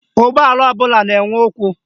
Ụgbọala ọbụla na-enwe ụkwụ